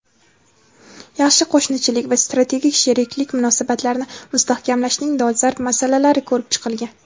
yaxshi qo‘shnichilik va strategik sheriklik munosabatlarini mustahkamlashning dolzarb masalalari ko‘rib chiqilgan.